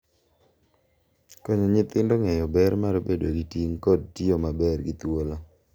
Konyo nyithindo ng’eyo ber mar bedo gi ting’ kod tiyo maber gi thuolo,